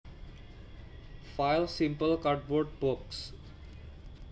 File Simple cardboard box